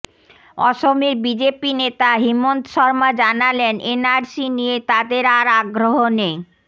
অসমের বিজেপি নেতা হিমন্ত শর্মা জানালেন এনআরসি নিয়ে তাদের আর আগ্রহ নেই